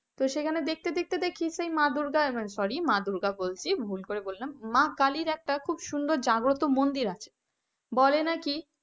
সেখানে দেখতে দেখতে দেখি সেই মা দুর্গা sorry মা দুর্গা বলছি ভুল করে বললাম মা কালীর একটা খুব সুন্দর জাগ্রত মন্দির আছে বলে নাকি,